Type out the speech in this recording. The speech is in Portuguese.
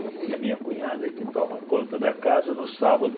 E a minha cunhada que toma conta da casa no sábado.